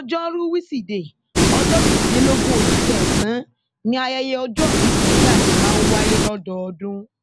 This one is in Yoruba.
ọjọrùú wíṣídẹẹ ọjọ kejìlélógún oṣù kẹsàn-án ni ayẹyẹ ọjọòbí sunny ade máa ń wáyé lọdọọdún